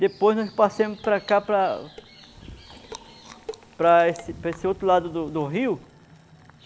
Depois nós passeamos para cá, para... Para esse para esse outro lado do do rio.